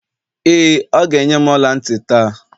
ee, ọ ga-enye m ọla ntị taa